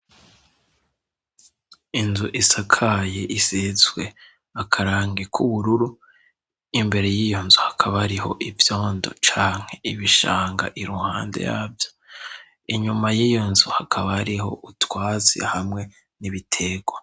inzu isakaye isizwe akarangi k'ubururu imbere y'iyonzu hakaba ariho ivyondo canke ibishanga iruhande yavyo inyuma y'iyonzu hakaba ariho utwatsi hamwe n'ibitegwa